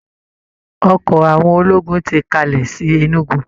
Ọkọ̀ àwọn ológùn ti kalẹ̀ sí Enugu